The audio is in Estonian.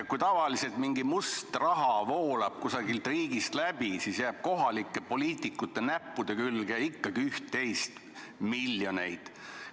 Kui tavaliselt mingisugune must raha voolab kusagilt riigist läbi, siis jääb ka kohalike poliitikute näppude külge üht-teist, miljoneid.